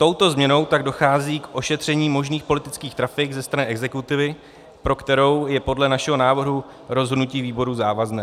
Touto změnou tak dochází k ošetření možných politických trafik ze strany exekutivy, pro kterou je podle našeho návrhu rozhodnutí výboru závazné.